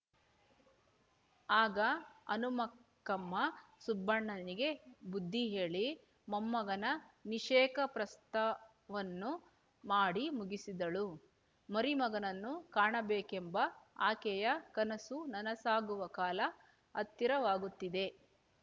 ಆಗ ಹನುಮಕ್ಕಮ್ಮ ಸುಬ್ಬಣ್ಣನಿಗೆ ಬುದ್ಧಿ ಹೇಳಿ ಮೊಮ್ಮಗನ ನಿಷೇಕಪ್ರಸ್ತವನ್ನು ಮಾಡಿ ಮುಗಿಸಿದಳು ಮರಿಮಗನನ್ನು ಕಾಣಬೇಕೆಂಬ ಆಕೆಯ ಕನಸು ನನಸಾಗುವ ಕಾಲ ಹತ್ತಿರವಾಗುತ್ತಿದೆ